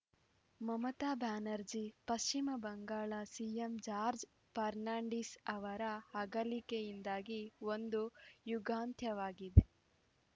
ಮಮತಾ ಬ್ಯಾನರ್ಜಿ ಪಶ್ಚಿಮ ಬಂಗಾಳ ಸಿಎಂ ಜಾರ್ಜ್ ಫರ್ನಾಂಡಿಸ್‌ ಅವರ ಅಗಲಿಕೆಯಿಂದಾಗಿ ಒಂದು ಯುಗಾಂತ್ಯವಾಗಿದೆ